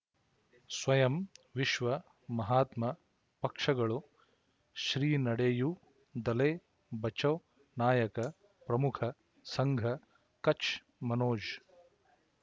ಸ್ವಯಂ ವಿಶ್ವ ಮಹಾತ್ಮ ಪಕ್ಷಗಳು ಶ್ರೀ ನಡೆಯೂ ದಲೈ ಬಚೌ ನಾಯಕ ಪ್ರಮುಖ ಸಂಘ ಕಚ್ ಮನೋಜ್